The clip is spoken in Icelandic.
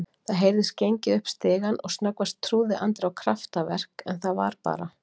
Það heyrðist gengið upp stigann og snöggvast trúði Andri á kraftaverk en það var bara